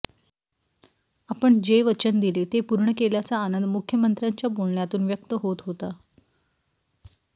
आपण जे वचन दिले ते पूर्ण केल्याचा आनंद मुख्यमंत्र्यांच्या बोलण्यातून व्यक्त होत होता